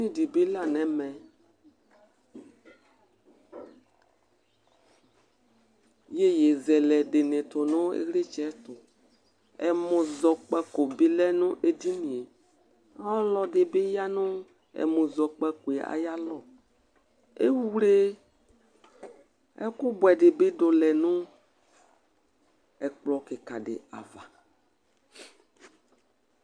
Edɩnɩ dibɩ la nʊ ɛʋɛ Ɩyoƴɩzɛlɛ dinɩ tsɩtʊ nʊ ɩylitsɛ tʊ Ɛmɔzɔkpaƙo ɓɩ lɛ ŋʊ edɩŋɩe Ɔlɔdɩ bɩ ya ŋʊ ɛmɔzɔƙpakɔ aƴalɔ Ewle ɛkʊ bʊedɩ bidʊ lɛ nʊ ɛkplɔ kɩka du ava